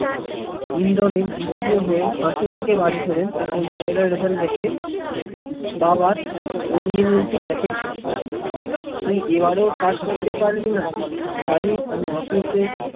ইন্দ্রনীল দ্বিতীয় হয়ে হাসিমুখে বাড়ি ফেরেন তখন ছেলের result দেখে বাবার অগ্নি মন্ত্রী দেখে কে, তুই এবারও first হতে পারলিনা জানিশ আমি office সে